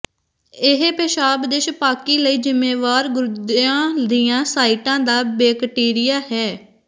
ਇਹ ਪੇਸ਼ਾਬ ਦੇ ਛਪਾਕੀ ਲਈ ਜ਼ਿੰਮੇਵਾਰ ਗੁਰਦਿਆਂ ਦੀਆਂ ਸਾਈਟਾਂ ਦਾ ਬੈਕਟੀਰੀਆ ਹੈ